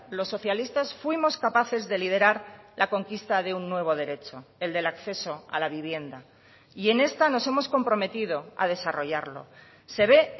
los socialistas fuimos capaces de liderar la conquista de un nuevo derecho el del acceso a la vivienda y en esta nos hemos comprometido a desarrollarlo se ve